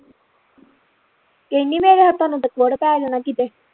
ਕਹਿੰਦੀ ਮੇਰੇ ਹੱਥਾਂ ਨੂੰ ਤੇ ਕੋਹੜ ਪੈ ਜਾਣਾ ਕਿਤੇ